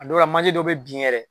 A dɔw la, manje dɔw be bin yɛrɛ.